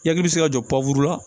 Yaki bɛ se ka jɔ pankurun la